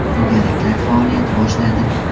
To‘garaklar faoliyat boshladi.